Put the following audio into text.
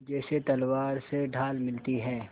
जैसे तलवार से ढाल मिलती है